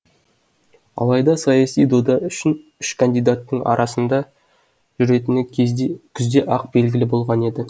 алайда саяси дода үшін үш кандидаттың арасында жүретіні кезде күзде ақ белгілі болған еді